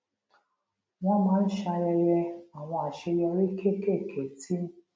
wón máa ń ṣayẹyẹ àwọn àṣeyọrí kéékèèké tí